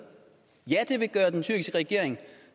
det vil gøre den tyrkiske regering